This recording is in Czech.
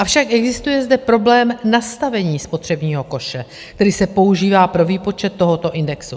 Avšak existuje zde problém nastavení spotřebního koše, který se používá pro výpočet tohoto indexu.